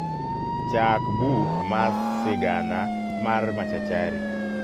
chaak buk mas sigana mar machachari